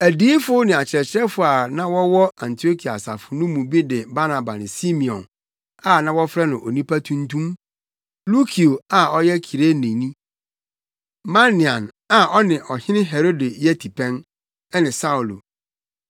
Adiyifo ne akyerɛkyerɛfo a na wɔwɔ Antiokia asafo no mu bi ne Barnaba ne Simeon, a na wɔfrɛ no “Onipa Tuntum,” Lukio a ɔyɛ Kireneni, Manaen, a ɔne Ɔhene Herode yɛ tipɛn, ne Saulo.